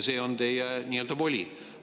See on teie voli.